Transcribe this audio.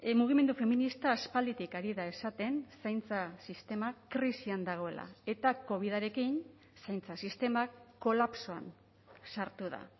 mugimendu feminista aspalditik ari da esaten zaintza sistema krisian dagoela eta covidarekin zaintza sistema kolapsoan sartu da